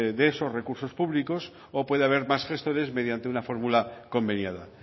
de esos recursos públicos o puede haber más gestores mediante una fórmula conveniada